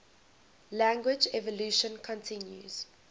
language evolution continues